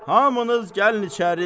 Hamınız gəlin içəri.